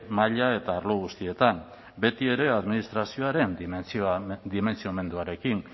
maila eta arlo guztietan betiere administrazioaren dimentsiomenduarekin